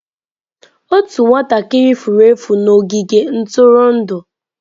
Otu nwatakịrị furu efu n'ogige ntụrụndụ.